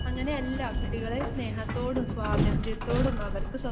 അങ്ങനെയല്ല കുട്ടികളെ സ്നേഹത്തോടും സ്വാതന്ത്ര്യത്തോടും അവർക്ക്